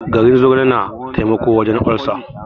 Garin zogale na taimako wajen olcer.